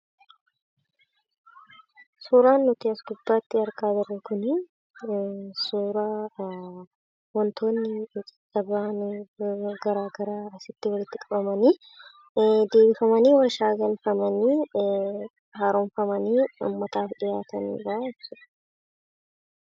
Suuraan asi gubbatti argaa jirru kunii suuraa wantoonni addaddaa baa'ani asitti walitti qabamanii deebiifamanii warshaa galfamanii harooffamanii gabaaf kan dhi'aatanidha jechuudha.